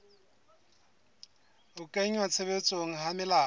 ho kenngwa tshebetsong ha melao